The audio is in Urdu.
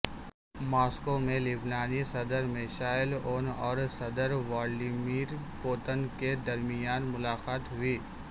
ماسکو میں لبنانی صدر میشال عون اور صدر ولادیمیر پوٹن کے درمیان ملاقات ہوئی